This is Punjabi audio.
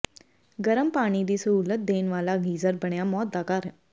ਗਰਮ ਪਾਣੀ ਦੀ ਸਹੂਲਤ ਦੇਣ ਵਾਲਾ ਗੀਜ਼ਰ ਬਣਿਆ ਮੌਤ ਦਾ ਕਾਰਨ